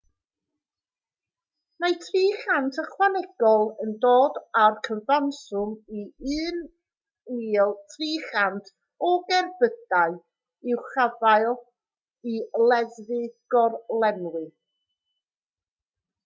mae 300 ychwanegol yn dod â'r cyfanswm i 1,300 o gerbydau i'w caffael i leddfu gorlenwi